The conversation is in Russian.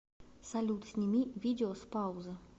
салют сними видео с паузы